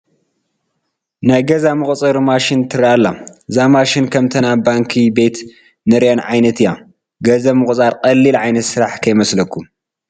ናይ ገንዘብ መቑፀሪ ማሽን ትርከአ ኣላ፡፡ እዛ ማሽን ከምተን ኣብ ባንኪ ቤት ንሪአን ዓይነት እያ፡፡ ገንዘብ ምቑፃር ቀሊል ዓይነት ስራሕ ከይመስለኩም፡፡